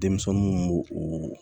Denmisɛnninw b'o o